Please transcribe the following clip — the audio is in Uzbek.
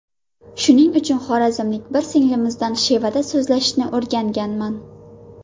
Shuning uchun xorazmlik bir singlimizdan shevada so‘zlashishni o‘rganganman.